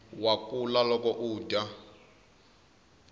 wa kula loko udya